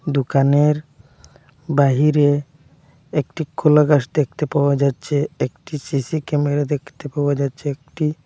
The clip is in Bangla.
দোকানের বাহিরে একটি কলাগাছ দেখতে পাওয়া যাচ্ছে একটি সি_সি ক্যামেরা দেখতে পাওয়া যাচ্ছে একটি--